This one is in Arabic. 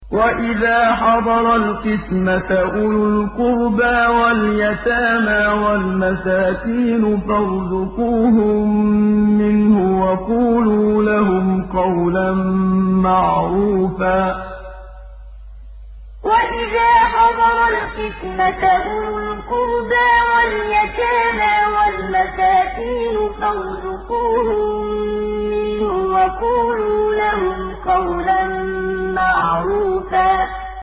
وَإِذَا حَضَرَ الْقِسْمَةَ أُولُو الْقُرْبَىٰ وَالْيَتَامَىٰ وَالْمَسَاكِينُ فَارْزُقُوهُم مِّنْهُ وَقُولُوا لَهُمْ قَوْلًا مَّعْرُوفًا وَإِذَا حَضَرَ الْقِسْمَةَ أُولُو الْقُرْبَىٰ وَالْيَتَامَىٰ وَالْمَسَاكِينُ فَارْزُقُوهُم مِّنْهُ وَقُولُوا لَهُمْ قَوْلًا مَّعْرُوفًا